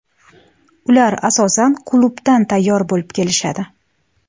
Ular asosan klubdan tayyor bo‘lib kelishadi.